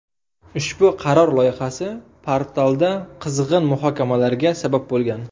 Ushbu qaror loyihasi portalda qizg‘in muhokamalarga sabab bo‘lgan.